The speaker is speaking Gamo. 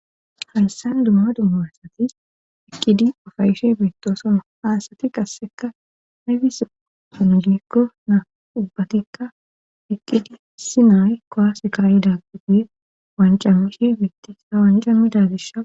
hayssan dumma dummaassatis eqqidi ufayishe beettosonoa aasati qasseka naybis sonu gikko naa ubbatikka iqqidi si naayy kowase kari daagguguye wancamishi beittisa wancamidagisha